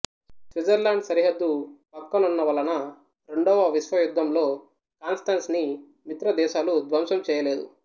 Switzerland సరిహద్దు ప్రక్కనున్న వలన రెండొవ విశ్వయుద్ధంలో కాన్స్టంస్ ని మిత్రదేశాలు ధ్వంసం చేయలేదు